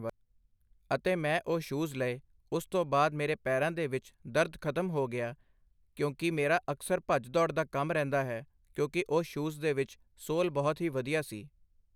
ਅਤੇ ਮੈਂ ਉਹ ਸ਼ੂਜ਼ ਲਏ ਉਸ ਤੋਂ ਬਾਅਦ ਮੇਰੇ ਪੈਰਾਂ ਦੇ ਵਿੱਚ ਦਰਦ ਖਤਮ ਹੋ ਗਿਆ ਕਿਉਂਕਿ ਮੇਰਾ ਅਕਸਰ ਭੱਜ ਦੌੜ ਦਾ ਕੰਮ ਰਹਿੰਦਾ ਹੈ ਕਿਉਂਕਿ ਉਹ ਸ਼ੂਜ਼ ਦੇ ਵਿੱਚ ਸੋਲ ਬਹੁਤ ਹੀ ਵਧੀਆ ਸੀ।